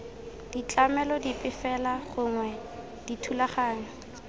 ditlamelo dipe fela gongwe dithulaganyo